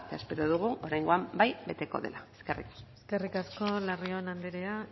espero dugu oraingoan bai beteko dela eskerrik asko eskerrik asko larrion andrea